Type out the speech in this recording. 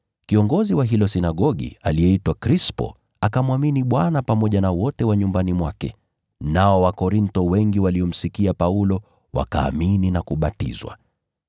Kiongozi wa hilo sinagogi, aliyeitwa Krispo, akamwamini Bwana, yeye pamoja na watu wote wa nyumbani mwake. Nao Wakorintho wengi waliomsikia Paulo pia wakaamini na kubatizwa.